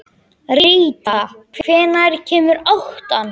Ríta, hvenær kemur áttan?